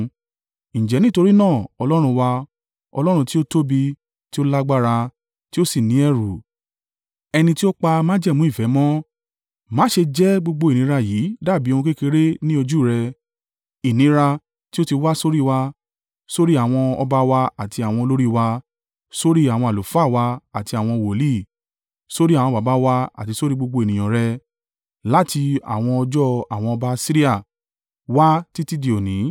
“Ǹjẹ́ nítorí náà, Ọlọ́run wa, Ọlọ́run tí ó tóbi, tí ó lágbára, tí ó sì ní ẹ̀rù, ẹni tí ó pa májẹ̀mú ìfẹ́ mọ́, má ṣe jẹ́ gbogbo ìnira yìí dàbí ohun kékeré ní ojú rẹ—ìnira tí ó ti wá sórí wa, sórí àwọn ọba wa àti àwọn olórí wa, sórí àwọn àlùfáà wa àti àwọn wòlíì, sórí àwọn baba wa àti sórí gbogbo ènìyàn rẹ̀, láti àwọn ọjọ́ àwọn ọba Asiria wá títí di òní.